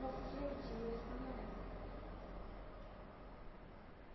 Nosso dia-a-dia de namorar.